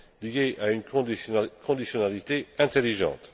fond liées à une conditionnalité intelligente.